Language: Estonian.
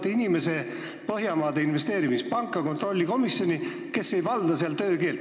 Te saadate Põhjamaade Investeerimispanga kontrollkomiteesse inimese, kes ei valda sealset töökeelt.